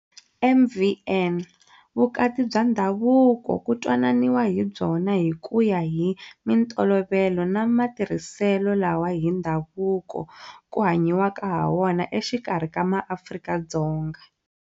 MvN- Vukati bya ndhavuko ku twananiwa hi byona hi ku ya hi mintolovelo na mati rhiselo lawa hi ndhavuko ku hanyiwaka hawona exikarhi ka MaAfrika-Dzonga.